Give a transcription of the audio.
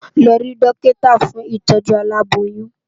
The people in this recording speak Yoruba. Lò ri dòkitá fún itòjú àlábóyùn